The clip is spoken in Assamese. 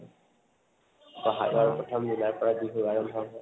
বহাগৰ প্ৰথম দিনৰ পৰাই বিহু আৰম্ভ হৈ হয়